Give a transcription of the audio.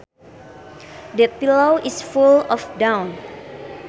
That pillow is full of down